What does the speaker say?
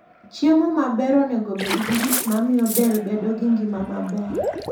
Chiemo maber onego obed gi gik mamiyo del bedo gi ngima maber.